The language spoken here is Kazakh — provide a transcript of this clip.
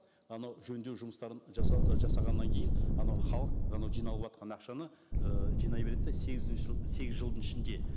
анау жөндеу жұмыстарын ы жасағаннан кейін анау халық анау жиналыватқан ақшаны ы жинай береді де сегізінші сегіз жылдың ішінде